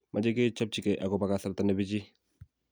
mache kechapchigei akobo kasarta ne pichiy